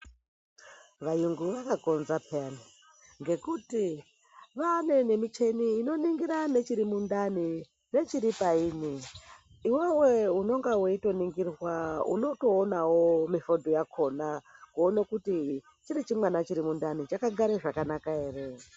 Vayungu vakakonza payani ngekuti vanemichini inoningira nechirimundani nechiri payini iwewe unonga weitoningirwa untoonawo mifoto yakhona kuona kuti chiri chimwana chiri mundani chakagara zvakanaka ere.